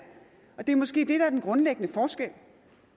og det er måske det der er den grundlæggende forskel